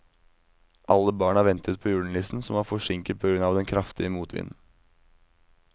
Alle barna ventet på julenissen, som var forsinket på grunn av den kraftige motvinden.